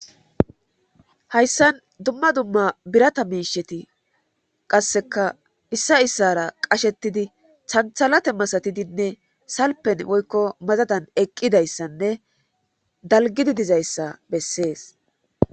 hayssan dumma dumma birata miisheti qasseka issa issara qashetidi thanthalate masatidinne salpen woykko mazadan eqqidayssanne dalgidi dizayssa bessees